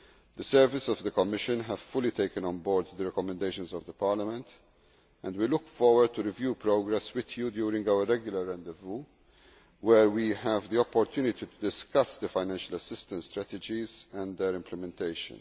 The services of the Commission have fully taken on board the recommendations of Parliament and we look forward to reviewing progress with you during our regular rendezvous where we have the opportunity to discuss the financial assistance strategies and their implementation.